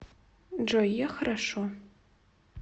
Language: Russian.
джой я хорошо